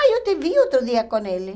Ah, eu te vi outro dia com ele.